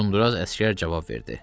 Uzundraz əsgər cavab verdi.